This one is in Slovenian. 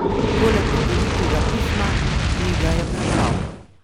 Poleg čudovitega pisma, ki ji ga je prebral.